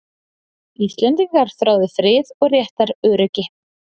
Íslendingar þráðu frið og réttaröryggi.